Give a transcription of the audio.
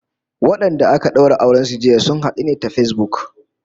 Wadanda aka daura auren su jiya, sun hadu ne ta Facebook